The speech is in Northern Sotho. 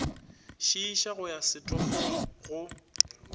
šiiša go ya setofong go